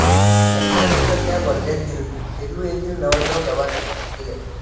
लग्नानंतर त्या वर्ध्यातील सेलू येथील नवरगाव गावात गेल्या